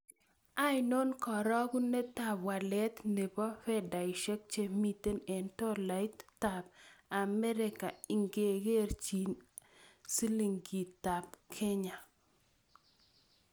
Ainon karogunetap walet ne po fedaisiek chemiten eng' tolaitap amerika ingekerchinen silingitap Kenya